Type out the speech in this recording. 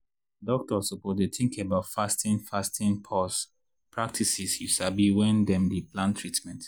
doktors suppose dey tink about fasting fasting pause practices you sabi wen dem dey plan treatment.